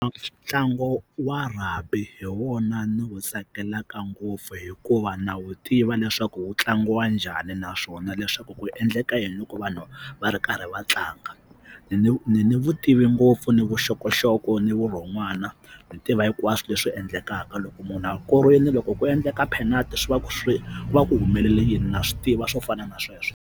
Ntlangu wa rugby hi wona ni wu tsakelaka ngopfu hikuva na wu tiva leswaku wu tlangiwa njhani naswona leswaku ku endleka yini loko vanhu va ri karhi va tlanga ni ni vutivi ngopfu ni vuxokoxoko ni vurhon'wana ni tiva hinkwaswo leswi endlekaka loko munhu a korile loko ku endleka penalt swi va swi va ku humelele yini na swi tiva swo fana na sweswo.